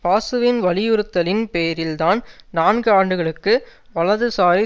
பாசுவின் வலியுறுத்தலின் பேரில்தான் நான்கு ஆண்டுகளுக்கு வலதுசாரி